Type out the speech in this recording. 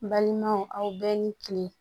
Balimaw aw bɛɛ ni kile